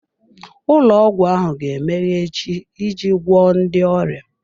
Ụlọ ọgwụ ahụ ga-emeghe echi iji gwọọ ndị ọrịa.